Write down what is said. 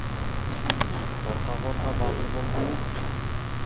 қорқа қорқа батыр болдық емес пе